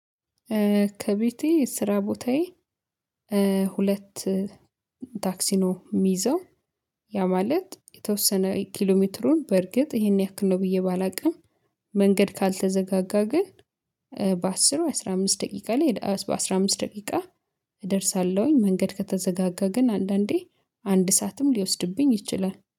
ከቤቴ ስራ ቦታዬ። ሁለት ታክሲኖ የሚይዘው ያ ማለት የተወሰነ ኪሎሜትሩን በርግጥ ይሄን ያክል ነው ብዬ ባላውቅም። መንገድ ካልተዘጋጋ ግን በአስር አስራ አምስት ደቂቃ ላይ በአስራ አምስት ደቂቃ እደርሳለሁኝ። መንገድ ከተዘጋጋ ግን አንዳንዴ አንድ ሰዓትም ሊወስድብኝ ይችላል